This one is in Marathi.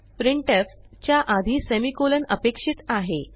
प्रिंटफ च्या आधी सेमिकोलॉन अपेक्षित आहे